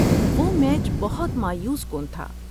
وہ میچ بہت مایوس کن تھا۔